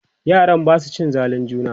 yaran Basu cin zalin juna?